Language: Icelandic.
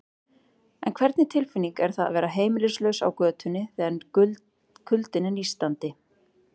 En hvernig tilfinning er það að vera heimilislaus á götunni, þegar kuldinn er nístandi?